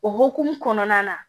O hukumu kɔnɔna na